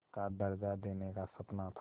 का दर्ज़ा देने का सपना था